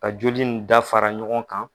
Ka joli nin dafara ɲɔgɔn kan